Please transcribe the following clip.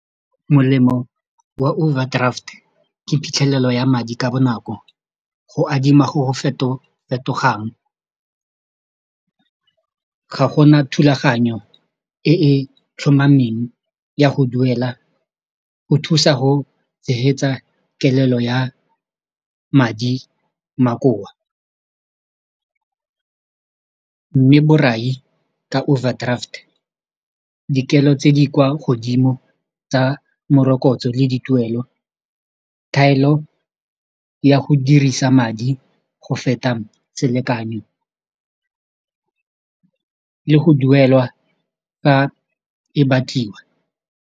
Molemo wa overdraft ke phitlhelelo ya madi ka bonako go adima go go fetogang ga go na thulaganyo e e tlhomameng ya go duela go thusa go tshegetsa kelelo ya madi makoa mme borai ka overdraft dikelo tse di kwa godimo tsa morokotso le di tuelo thaelo ya go dirisa madi go feta selekano le go duelwa fa e batliwa.